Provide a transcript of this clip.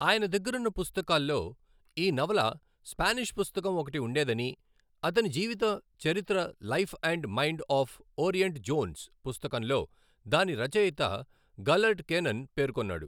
ఆయన దగ్గరున్న పుస్తకాల్లో ఈ నవల స్పెనిష్ పుస్తకం ఒకటి ఉండేదని అతని జీవిత చరిత్ర life and mind of Oriental Jones పుస్తకంలో దాని రచయిత గలర్డ్ కెనన్ పేర్కొన్నాడు.